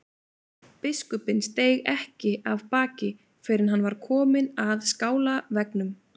Biskupinn steig ekki af baki fyrr en hann var kominn að skálaveggnum.